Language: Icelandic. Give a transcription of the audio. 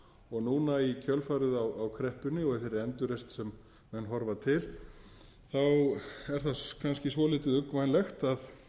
erfið núna í kjölfarið á kreppunni og þeirri endurreisn sem menn horfa til er það kannski svolítið uggvænlegt að